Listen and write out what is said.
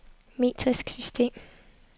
metrisk system